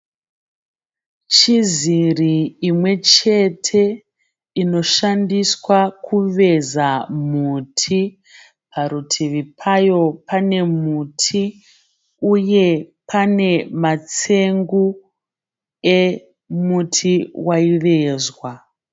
Chiziri imwe chete inoshandiswa kuveza muti. Parutivi payo pane muti uye pane matsengu emuti waivezwa.